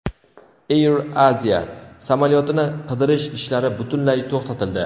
Air Asia samolyotini qidirish ishlari butunlay to‘xtatildi.